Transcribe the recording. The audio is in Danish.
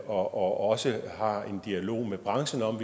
og også har en dialog med branchen om